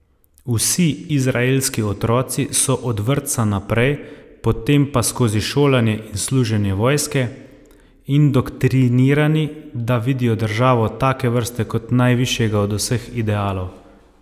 Vsi izraelski otroci so od vrtca naprej, potem pa skozi šolanje in služenje vojske, indoktrinirani, da vidijo državo take vrste kot najvišjega od vseh idealov.